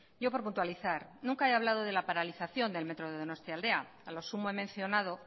yo por puntualizar nunca he hablado de la paralización del metro de donostialdea a lo sumo he mencionado